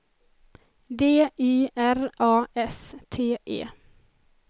D Y R A S T E